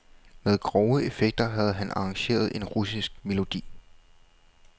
Med grove effekter havde han arrangeret en russisk melodi.